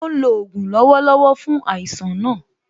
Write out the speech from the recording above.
Ó ń lò ògùn lọ́wọ́lọ́wọ́ fún àìsàn náà